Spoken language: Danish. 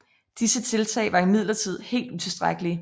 Disse tiltag var imidlertid helt utilstrækkelige